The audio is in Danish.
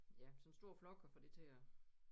Ja sådan en stor flok at få det til at